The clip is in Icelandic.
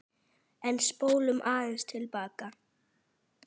En spólum aðeins til baka.